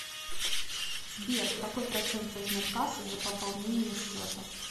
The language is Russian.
сбер какой процент возьмет касса за пополнение счета